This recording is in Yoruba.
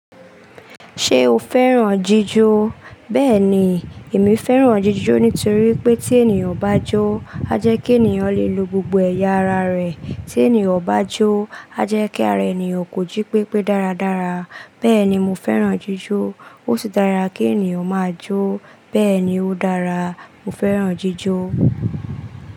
Ṣé o fẹ́ràn jíjó? Bẹ́ẹ̀ ni, èmi fẹ́ràn jíjó nítorí pé tí ènìyàn bá jó, a jẹ́ kí ènìyàn lè lo gbogbo ẹ̀yà ara rẹ̀. Tí ènìyàn bá jó, a jẹ́ kí ara ènìyàn kò jí pépé dáradára. Bẹ́ẹ̀ni mo fẹ́ràn jíjó. Ó sì dára kí ènìyàn máa jó. Bẹ́ẹ̀ ni ó dára. Mo fẹ́ràn jíjó.